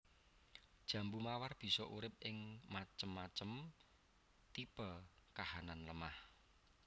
Jambu mawar bisa urip ing macem macem tipe kahanan lemah